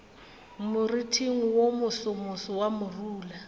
moriting wo mosomoso wa morula